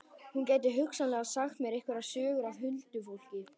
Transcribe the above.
Hún gæti hugsanlega sagt mér einhverjar sögur af huldufólki.